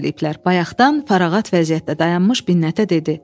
Bayaqdan parağat vəziyyətdə dayanmış Binnətə dedi.